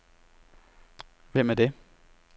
Hvem er det